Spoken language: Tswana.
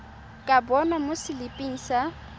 ka bonwa mo seliping sa